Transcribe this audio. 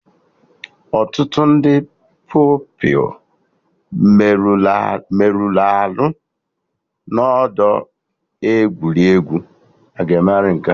Ọtụtụ ndị Pupilụ merụrụ arụ n'ọdọ egwuregwu